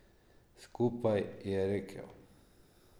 Skupaj, je rekel.